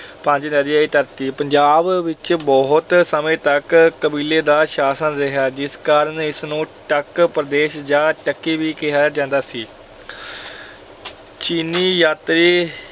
ਪੰਜ ਨਦੀਆਂ ਦੀ ਧਰਤੀ। ਪੰਜਾਬ ਵਿੱਚ ਬਹੁਤ ਸਮੇਂ ਤੱਕ ਕਬੀਲੇ ਦਾ ਸ਼ਾਸਨ ਰਿਹਾ ਜਿਸ ਕਾਰਨ ਇਸ ਨੂੰ ਟੱਕ ਪ੍ਰਦੇਸ਼ ਜਾਂ ਟੱਕੀ ਵੀ ਕਿਹਾ ਜਾਂਦਾ ਸੀ। ਚੀਨੀ ਯਾਤਰੀ